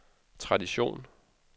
tradition